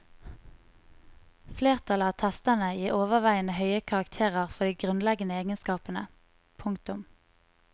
Flertallet av testerne gir overveiende høye karakterer for de grunnleggende egenskapene. punktum